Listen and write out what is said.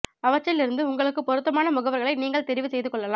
அவற்றில் இருந்து உங்களுக்குப் பொருத்தமான முகவர்களை நீங்கள் தெரிவு செய்து கொள்ளலாம்